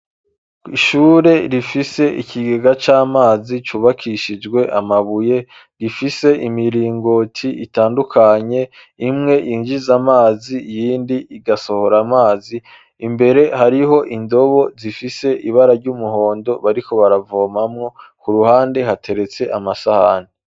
Ishure rifise ikigega c'amazi cubakishijwe amabuye, rifise imiringoti itandukanye, imwe yinjiza amazi, iyindi igasohora amazi, imbere hariho indobo zifise ibara ry'umuhondo bariko baravomamwo, ku ruhande hateretse amasahani.